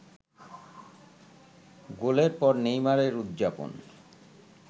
গোলের পর নেইমারের উদযাপন